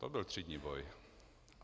To byl třídní boj!